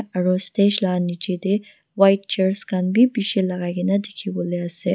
aro stage la niche de white chairs khan bi bishi lagai kina dikivolae ase.